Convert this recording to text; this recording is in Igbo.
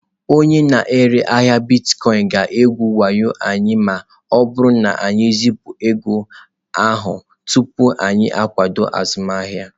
Onye na-ere ahịa Bitkoinsị ga-egwu wayo anyị ma ọ bụrụ na anyị ezipụ ego ahụ tupu anyị akwado azụmahịa.